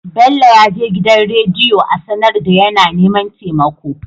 Bello yaje gidan rediyo a sAnar da yAna neman temako